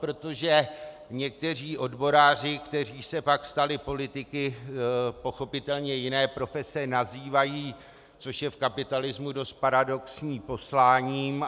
Protože někteří odboráři, kteří se pak stali politiky, pochopitelně jiné profese nazývají, což je v kapitalismu dost paradoxní, posláním.